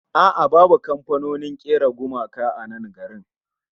A'a babu kamfanonin kera gumaka a nan garin